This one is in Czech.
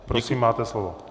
Prosím máte slovo.